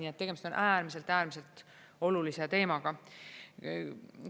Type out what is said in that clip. Nii et tegemist on äärmiselt-äärmiselt olulise teemaga.